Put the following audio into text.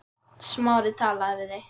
Smári talaði við þig?